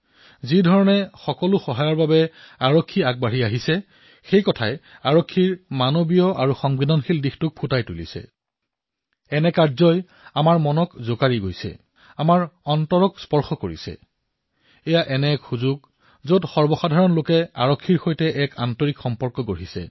যিদৰে প্ৰতিটো সাহায্যৰ বাবে আৰক্ষীসকল আগুৱাই আহিছে ইয়াৰ জৰিয়তে তেওঁলোকৰ মানৱীয় আৰু সংবেদনশীল ৰূপ আমাৰ সন্মুখত প্ৰকট হবলৈ ধৰিছে আমাৰ হৃদয় স্পৰ্শ কৰিছে